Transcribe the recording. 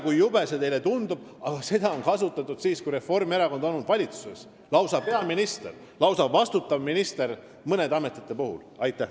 Kui jube see teile ka ei tundu, seda kasutati mõne ameti puhul ka siis, kui Reformierakond oli valitsuses – lausa peaminister ja vastutav minister kasutasid.